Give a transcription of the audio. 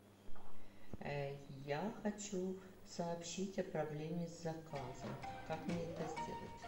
я хочу сообщить о проблеме с заказом как мне это сделать